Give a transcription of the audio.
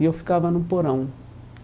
E eu ficava no porão.